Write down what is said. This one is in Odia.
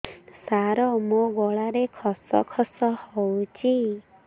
ସାର ମୋ ଗଳାରେ ଖସ ଖସ ହଉଚି